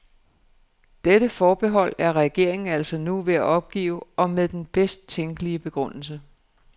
Dette forbehold er regeringen altså nu ved at opgive og med den bedst tænkelige begrundelse.